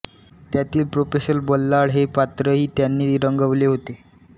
त्यातील प्रोफेसर बल्लाळ हे पात्रही त्यांनी रंगवले होते